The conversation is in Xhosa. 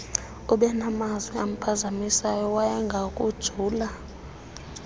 ubenamazwi amphazamisayo wayengakujula